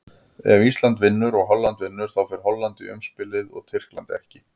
Ef Ísland vinnur og Holland vinnur, þá fer Holland í umspilið og Tyrkland ekki.